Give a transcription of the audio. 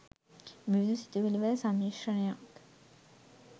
විවිධ සිතුවිලි වල සම්මිශ්‍රණයක්